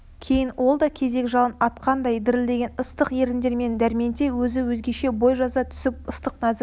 кейін ол да кезек жалын атқандай дірілдеген ыстық еріндерімен дәрменте өзі де өзгеше бой жаза түсіп ыстық нәзік